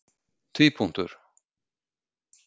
tvípunktur